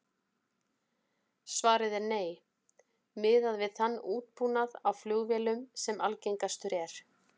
Svarið er nei, miðað við þann útbúnað á flugvélum sem algengastur er.